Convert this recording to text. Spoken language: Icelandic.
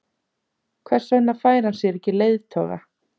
Hver vegna fær hann sér ekki leiðtoga?